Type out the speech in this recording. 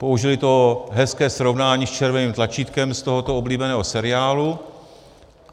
Použili to hezké srovnání s červeným tlačítkem z tohoto oblíbeného seriálu.